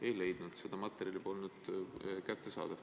Ei leidnud, see materjal polnud kättesaadav.